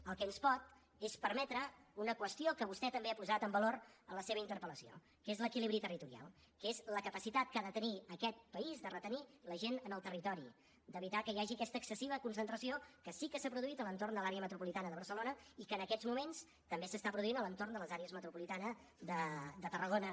el que ens pot és permetre una qüestió que vostè també ha posat en valor en la seva interpel·lació que és l’equilibri territorial que és la capacitat que ha de tenir aquest país de retenir la gent en el territori d’evitar que hi hagi aquesta excessiva concentració que sí que s’ha produït a l’entorn de l’àrea metropolitana de barcelona i que en aquests moments també s’està produint a l’entorn de l’àrea metropolitana de tarragona